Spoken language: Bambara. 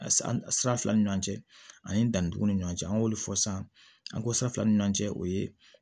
Sira fila ni ɲɔgɔn cɛ ani danni cogo ni ɲɔgɔn cɛ an y'olu fɔ san an ko san fila ni ɲɔgɔn cɛ o ye